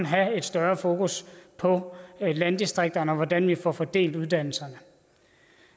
have et større fokus på landdistrikterne og hvordan vi får fordelt uddannelserne